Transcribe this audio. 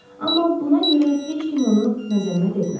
Amma buna görə heç kim onu məzəmmət etmədi.